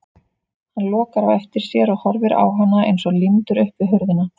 Hann lokar á eftir sér og horfir á hana eins og límdur upp við hurðina.